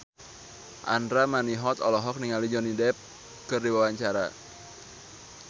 Andra Manihot olohok ningali Johnny Depp keur diwawancara